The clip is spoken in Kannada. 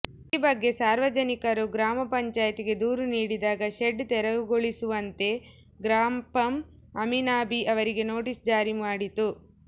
ಈ ಬಗ್ಗೆ ಸಾರ್ವಜನಿಕರು ಗ್ರಾಮ ಪಂಚಾಯಿತಿಗೆ ದೂರು ನೀಡಿದಾಗ ಶೆಡ್ ತೆರವುಗೊಳಿಸುವಂತೆ ಗ್ರಾಪಂ ಅಮೀನಾಬಿ ಅವರಿಗೆ ನೋಟಿಸ್ ಜಾರಿ ಮಾಡಿತು